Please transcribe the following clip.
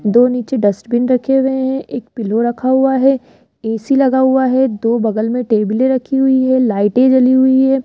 दो नीचे डस्टबिन रखे हुए हैं एक पिलो रखा हुआ है ए_सी लगा हुआ है दो बगल में टेबीले रखी हुई है लाइटे जली हुई है।